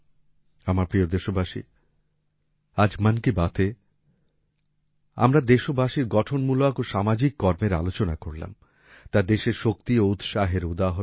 আমার প্রিয় দেশবাসী আজ মন কি বাতএ আমরা দেশবাসীর গঠনমূলক ও সামাজিক কর্মের আলোচনা করলাম তা দেশের শক্তি ও উৎসাহের উদাহরণ